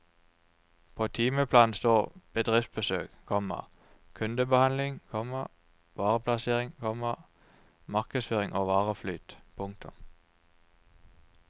På timeplanen står bedriftsbesøk, komma kundebehandling, komma vareplassering, komma markedsføring og vareflyt. punktum